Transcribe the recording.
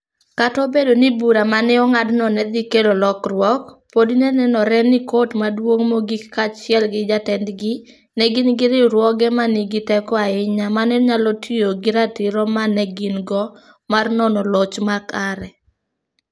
Kata obedo ni bura ma ne ong'adno ne dhi kelo lokruok, podi ne nenore ni Kot Maduong' Mogik kaachiel gi jatendgi ne gin riwruoge ma nigi teko ahinya ma ne nyalo tiyo gi ratiro ma ne gin go mar nono loch mar ker.